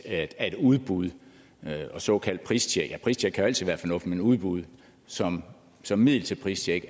at udbud og såkaldt pristjek eller pristjek kan jo altid være fornuftigt men udbud som som middel til pristjek